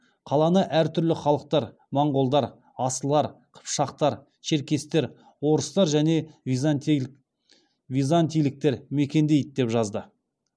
қаланы әр түрлі халықтар моңғолдар асылар қыпшақтар черкестер орыстар және византийліктер мекендейді деп жазды